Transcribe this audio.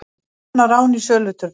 Vopnað rán í söluturni